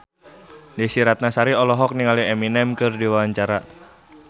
Desy Ratnasari olohok ningali Eminem keur diwawancara